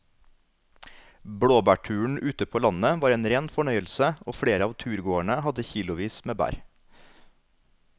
Blåbærturen ute på landet var en rein fornøyelse og flere av turgåerene hadde kilosvis med bær.